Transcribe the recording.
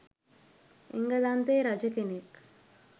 එංගලන්තයේ රජ කෙනෙක්